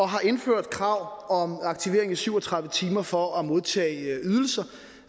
har indført krav om aktivering i syv og tredive timer for at modtage ydelser